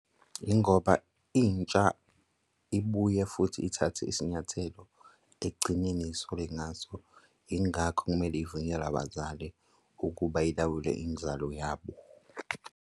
Yingoba intsha ibuye futhi ithathe isinyathelo, ekugcineni isuke ingazi yingakho kumele ivunyelwe abazali ukuba ilawule inzalo yabo.